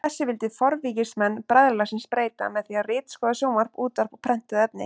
Þessu vildi forvígismenn bræðralagsins breyta með því að ritskoða sjónvarp, útvarp og prentuð efni.